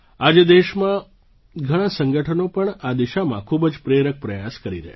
આજે દેશમાં ઘણાં સંગઠનો પણ આ દિશામાં ખૂબ જ પ્રેરક પ્રયાસ કરી રહ્યા છે